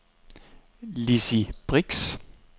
Lizzi Brix